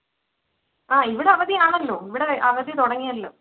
ആഹ് ഇവിടെ അവധിയാണല്ലോ. ഇവിടെ അവധി തുടങ്ങിയല്ലോ.